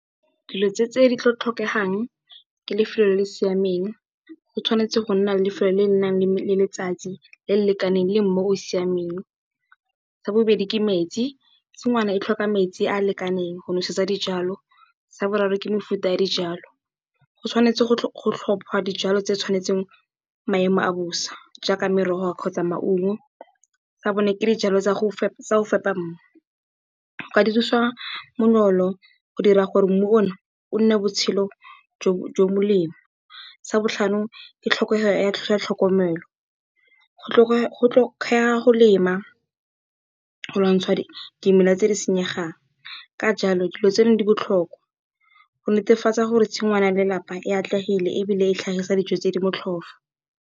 Dilo tse di tlhokegang ke lefelo le le siameng. Go tshwanetse ga nna lefelo le le nang le letsatsi le le lekaneng le mmu o o siameng. Sa bobedi ke metsi, tshigwana e tlhoka metsi a a lekaneng go nosetsa dijalo. Sa boraro ke mefuta ya dijwalo, go tshwanetse go tlhopiwa dijalo tse di tshwanetseng maemo a bosa jaaka merogo kgotsa maungo. Sa bone ke dijalo tsa go fepa mmu, go ka di thusa go dira gore mmu o ne o nne botshelo jo bo molemo. Sa botlhano ke tlhokego ya tlhokomelo, go tlhokega go lema go lwantsha dimela tse di senyegang, ka jalo dilo tseno di botlhokwa go netefatsa gore tshingwana ya lelapa e atlegile ebile e tlhagisa dijo tse di motlhofo.